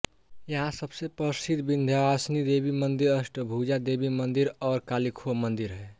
यहाँ सबसे प्रसिद्ध विंध्यवासिनी देवी मंदिर अष्टभुजा देवी मंदिर और कालीखोह मंदिर हैं